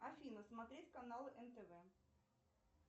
афина смотреть канал нтв